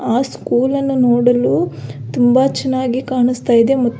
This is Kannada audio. ಆ ಸ್ಕೂಲನ್ನು ನೋಡಲು ತುಂಬಾ ಚೆನ್ನಾಗಿ ಕಾಣಿಸ್ತಾ ಇದೆ ಮತ್ತು.